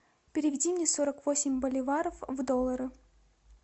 переведи мне сорок восемь боливаров в доллары